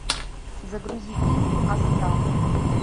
загрузи фильм астрал